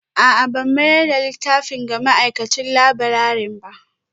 A'a ban mayar da littafin ga ma'aikacin laburare ba